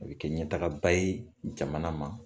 A bɛ kɛ ɲɛtagaba ye jamana ma